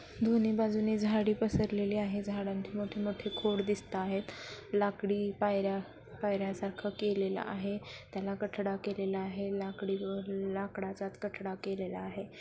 दोन्ही बाजूंनी झाडी पसरलेली आहे. झाडांत मोठेमोठे खोड दिसताहेत लाकडी पायर्‍या पायर्‍यासारखा केलेल आहे. त्याला कठडा केलेला आहे. लाकडी व लाकडचा कठडा केलेला आहे.